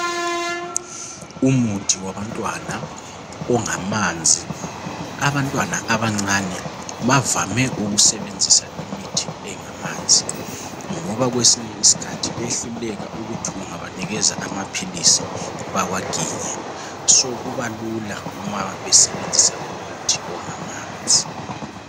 Umuthi wabantwana ongamanzi abantwana abancane bavame ukusebenzisa imuthi engamanzi ngoba kwesinye isikhathi behluleka ukuthi ungabanikeza amaphilisi bawaginye so kubalula uma besebenzisa umuthi ongamanzi.